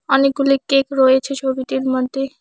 অনেকগুলি কেক রয়েছে ছবিটির মধ্যে।